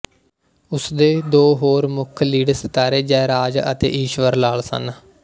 ਉਸ ਦੇ ਹੋਰ ਦੋ ਮੁੱਖ ਲੀਡ ਸਿਤਾਰੇ ਜੈਰਾਜ ਅਤੇ ਈਸ਼ਵਰਲਾਲ ਸਨ